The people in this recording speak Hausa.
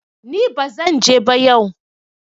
ni ba zan je ba yau!